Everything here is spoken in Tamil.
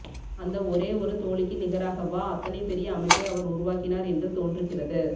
அந்த ஒரே ஒரு தோழிக்கு நிகராகவா அத்தனை பெரிய அமைப்பை அவர் உருவாக்கினார் என்று தோன்றுகிறது